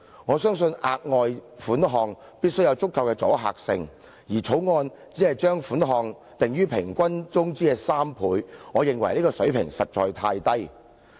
我相信額外款項必須有足夠的阻嚇性，而《條例草案》只是將款項訂於僱員平均工資的3倍，我認為這個水平實在太低。